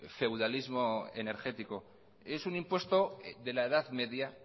feudalismo energético es un impuesto de la edad media